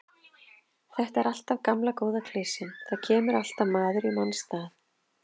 Þetta er alltaf gamla góða klisjan, það kemur alltaf maður í manns stað.